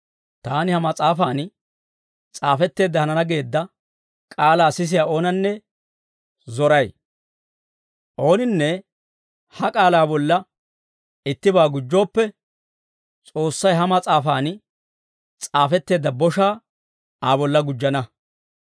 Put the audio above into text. Taani ha mas'aafan s'aafetteedda hanana geedda k'aalaa sisiyaa oonanne zoray. Ooninne ha k'aalaa bolla ittibaa gujjooppe, S'oossay ha mas'aafan s'aafetteedda boshaa Aa bolla gujjana.